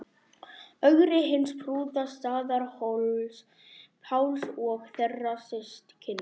Ögri hins prúða, Staðarhóls-Páls og þeirra systkina.